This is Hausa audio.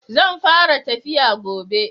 Zan fara tafiya gobe.